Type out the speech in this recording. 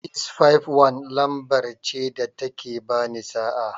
651 ce lamber ce da ta ke ba ni sa'a.